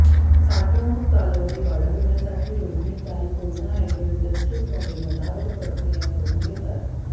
साठवणूक कालावधी वाढविण्यासाठी रोहिणीताई कोयना अॅग्रो इंडस्ट्रीजमध्ये मधावर प्रक्रिया करून घेतात